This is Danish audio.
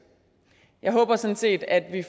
jeg håber sådan set at vi